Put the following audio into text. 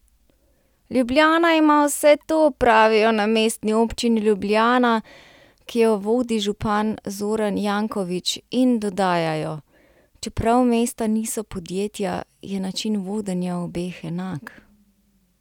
Ljubljana ima vse to," pravijo na Mestni občini Ljubljana, ki jo vodi župan Zoran Janković, in dodajajo: "Čeprav mesta niso podjetja, je način vodenja obeh enak.